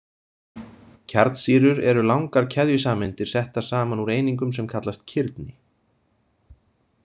Kjarnsýrur eru langar keðjusameindir settar saman úr einingum sem kallast kirni.